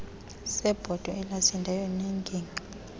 sebhotwe elasindayo nengingqi